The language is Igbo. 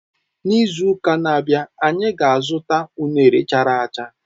N'izu uka na-abịa, anyị ga-azụta unere chara acha.